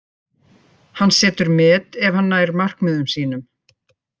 Hann setur met ef hann nær markmiðum sínum.